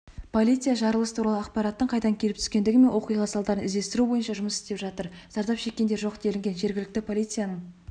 полиция жарылыс туралы ақпараттың қайдан келіп түскендігі мен оқиғаның салдарын іздестіру бойынша жұмыс істеп жатыр зардап шеккендер жоқ делінген жергілікті полицияның